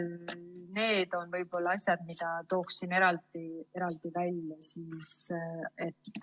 Need on asjad, mida tooksin eraldi välja.